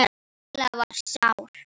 Lilla var sár.